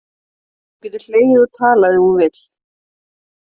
Hún getur hlegið og talað ef hún vill.